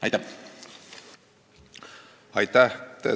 Aitäh!